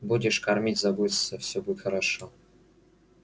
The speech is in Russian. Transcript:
будешь кормить заботиться всё будет хорошо